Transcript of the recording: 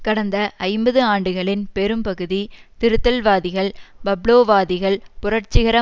கடந்த ஐம்பது ஆண்டுகளின் பெரும்பகுதி திருத்தல்வாதிகள் பப்லோவாதிகள் புரட்சிகர